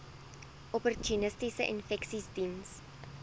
opportunistiese infeksies diens